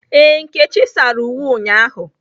Ee, nkechi sara uwe ụnyahụ